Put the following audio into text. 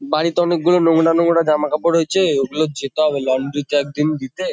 বাড়িতে অনেকগুলো নোংরা-নোংরা জামাকাপড় রয়েছে ওগুলো যেতে হবে লন্ড্রি -তে একদিন দিতে ।